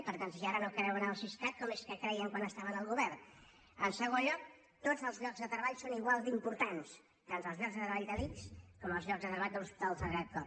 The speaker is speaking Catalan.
per tant si ara no creuen en el siscat com és que hi creien quan estaven al govern en segon lloc tots els llocs de treball són igual d’importants tant els llocs de treball de l’ics com els llocs de treball de l’hospital sagrat cor